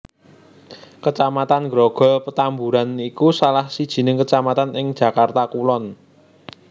Kecamatan Grogol Petamburan iku salah sijining kecamatan ing Jakarta Kulon